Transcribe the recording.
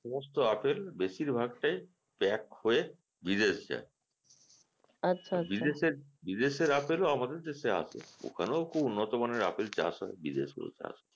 সমস্ত আপেল বেশিরভাগ টাই pack হয়ে বিদেশ যায় বিদেশের বিদেশের আপেলও আমাদের দেশে আসে ওখানেও খুব উন্নত মানের আপেল চাষ হয় বিদেশ গুলোতে আসে